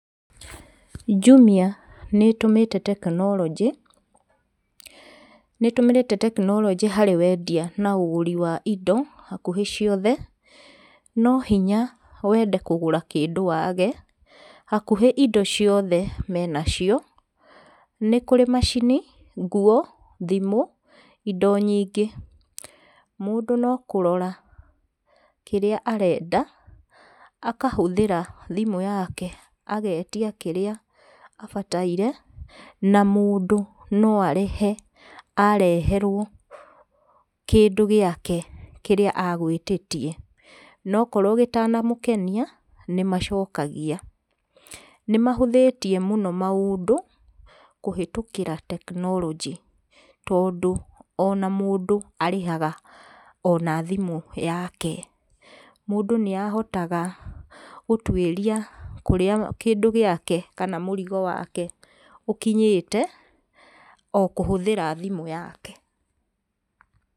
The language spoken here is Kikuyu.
Jumia nĩ ĩtũmĩte tekinoronjĩ, nĩ ĩtũmĩrĩte tekinoronjĩ harĩ wendia na ũgũri wa indo hakuhĩ ciothe. No hinya wende kũgũra kĩndũ wage, hakuhĩ indo ciothe me nacio. Nĩ kũrĩ macini, nguo, thimũ, indo nyingĩ. Mũndũ no kũrora kĩrĩa arenda akahũthĩra thimũ yake, agetia kĩrĩa abataire. Na mũndũ no arĩhe areherwo kĩndũ gĩake kĩrĩa agwĩtĩtie. Na okorwo gĩtanamũkenia nĩ macokagia. Nĩ mahũthĩtie mũno maũndũ kũhĩtũkĩra tekinoronjĩ. Tondũ ona mũndũ arĩhaga o na thimũ yake. Mũndũ nĩ ahotaga gũtuĩria kũrĩa kĩndũ giake kana mũrigo wake ũkinyĩte o kũhũthĩra thimũ yake.